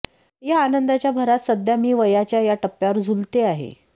या आनंदाच्या भरात सध्या मी वयाच्या या टप्प्यावर झुलते आहे